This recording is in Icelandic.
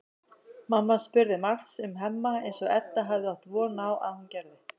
Mamma spurði margs um Hemma eins og Edda hafði átt von á að hún gerði.